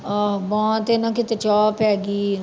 ਆਹ ਬਾਂਹ ਤੇ ਨਾ ਕਿਤੇ ਚਾਹ ਪੈ ਗਈ।